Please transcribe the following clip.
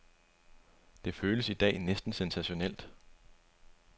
Det føles i dag næsten sensationelt.